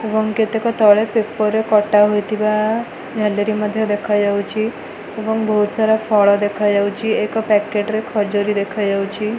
ଏବଂ କେତେକ ତଳେ ପେପର ରେ କଟା ହୋଇଥିବା ଝାଲେରୀ ମଧ୍ୟ ଦେଖାଯାଉଚି ଏବଂ ବହୁତ ସାରା ଫଳ ଦେଖାଯାଉଚି ଏକ ପ୍ୟାକେଟ ରେ ଖଜୁରୀ ଦେଖାଯାଉଚି ।